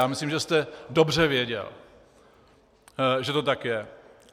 Já myslím, že jste dobře věděl, že to tak je.